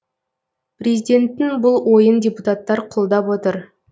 президенттің бұл ойын депутаттар қолдап отыр